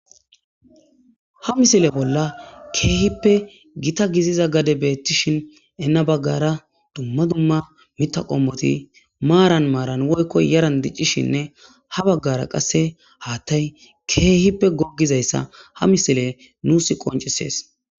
Ha misile bolla kehippe gitta gidiza gadey betishin gana bagara duma duma mitha qomoti maran maran woykon yaran dicishin ha bagara qase hathay kehippe gogizaysa ha misiley nusi qoncises